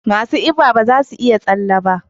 Masu kiba ba za su iya tsalle ba.